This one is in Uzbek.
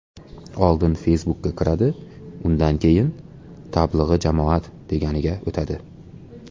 Oldin Facebook’ka kiradi, undan keyin ‘Tablig‘i jamoat’ deganiga o‘tadi.